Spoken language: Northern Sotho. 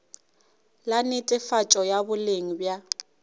la netefatšo ya boleng bja